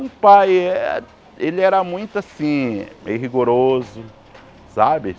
Um pai, ah ele era muito, assim, meio rigoroso, sabe?